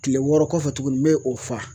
Kile wɔɔrɔ kɔfɛ tuguni me o fa